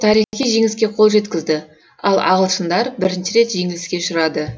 тарихи жеңіске қол жеткізді ал ағылшындар бірінші рет жеңіліске ұшырады